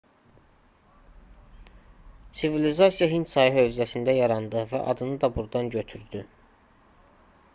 sivilizasiya hind çayı hövzəsində yarandı və adını da burdan götürdü